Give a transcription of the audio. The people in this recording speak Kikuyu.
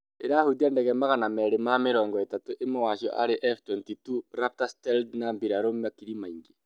ĩrahũtia ndege magana merĩ ma mĩrongo ĩtatũ, ĩmwe wa cĩo arĩ F-22 Raptor stealth na birarũ makiri maingĩ